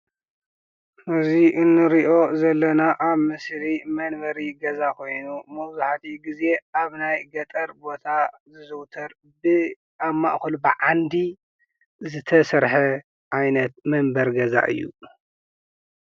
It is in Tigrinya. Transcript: እዚ እንሪኦ ዘለና ኣብ ምስሊ መንበሪ ገዛ ኾይኑ መብዛሕቲኡ ጊዜ ኣብ ናይ ገጠር ቦታ ዝዝውተር ኣብ ማእኸሉ ብዓንዲ ዝተሰርሐ ዓይነት መንበሪ ገዛ እዩ፡፡